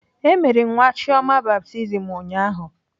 E mere nwa Chioma baptizim ụnyaahụ.